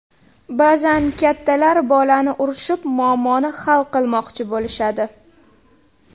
Ba’zan kattalar bolani urishib, muammoni hal qilmoqchi bo‘lishadi.